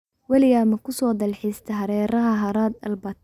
Weligaa ma ku soo dalxistaay hareeraha harada Albert?